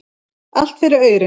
Allt fyrir aurinn.